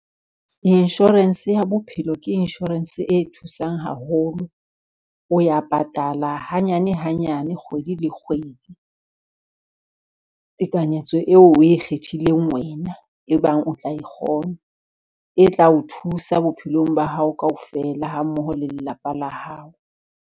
Insurance ya bophelo ke insurance e thusang haholo, o ya patala hanyane hanyane, kgwedi le kgwedi. Tekanyetso eo o e kgethileng wena e bang o tla e kgona, e tla o thusa bophelong ba hao kaofela ha mmoho le lelapa la hao.